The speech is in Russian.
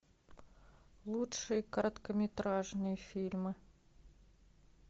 лучшие короткометражные фильмы